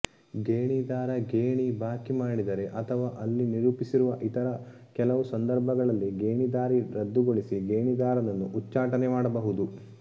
ಗೇಣಿದಾರ ಗೇಣಿ ಬಾಕಿ ಮಾಡಿದರೆ ಅಥವಾ ಅಲ್ಲಿ ನಿರೂಪಿಸಿರುವ ಇತರ ಕೆಲವು ಸಂದರ್ಭಗಳಲ್ಲಿ ಗೇಣಿದಾರಿ ರದ್ದುಗೊಳಿಸಿ ಗೇಣಿದಾರನನ್ನು ಉಚ್ಚಾಟನೆ ಮಾಡಬಹುದು